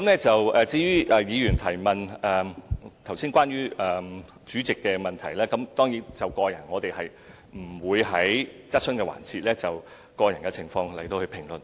至於尹議員問及關於主席的國籍，我們當然不會在質詢環節評論個人情況。